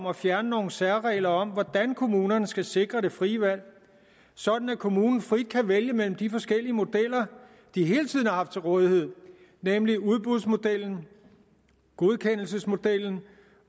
at fjerne nogle særregler om hvordan kommunerne skal sikre det frie valg sådan at kommunen frit kan vælge mellem de forskellige modeller de hele tiden har haft til rådighed nemlig udbudsmodellen godkendelsesmodellen